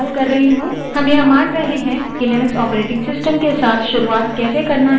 हम यह मानते हैं कि लिनक्स operating system के साथ शुरुआत कैसे करना है ये आपको पता है